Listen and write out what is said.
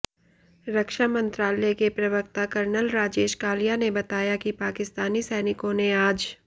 रक्षा मंत्रालय के प्रवक्ता कर्नल राजेश कालिया ने बताया कि पाकिस्तानी सैनिकों ने आज